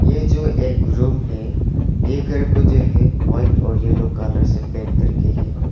ये जो एक रूम है ये घर को जो है व्हाइट और येलो कलर से पेंट करके है।